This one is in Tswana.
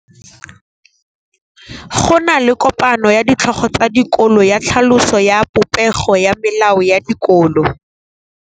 Go na le kopanô ya ditlhogo tsa dikolo ya tlhaloso ya popêgô ya melao ya dikolo.